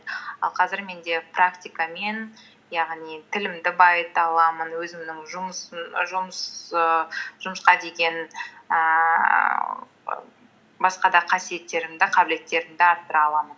ал қазір менде практика мен яғни тілімді байыта аламын өзімнің ііі жұмысқа деген ііі басқа да қасиеттерімді қабілеттерімді арттыра аламын